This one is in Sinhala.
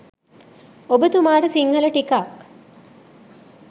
ඔබ තුමාට සිංහල ටිකක්